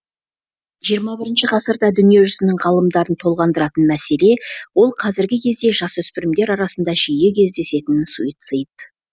жиырма бірінші ғасырда дүние жүзінің ғалымдарын толғандыратын мәселе ол қазіргі кезде жасөспірімдер арасында жиі кездесетін суицид